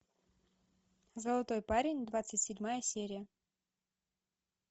золотой парень двадцать седьмая серия